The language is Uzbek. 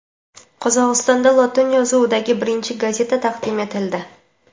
Qozog‘istonda lotin yozuvidagi birinchi gazeta taqdim etildi.